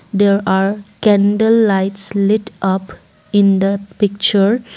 there are candle lights lit up in the picture.